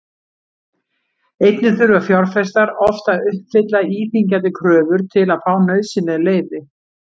Einnig þurfa fjárfestar oft að uppfylla íþyngjandi kröfur til að fá nauðsynleg leyfi.